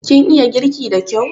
Kin iya girki da kyau?